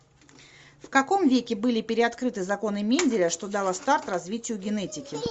в каком веке были переоткрыты законы менделя что дало старт развитию генетики